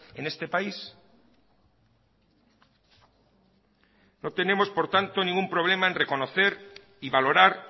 en este país no tenemos por tanto ningún problema en reconocer y valorar